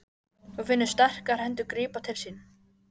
Hún finnur sterkar hendur grípa til sín.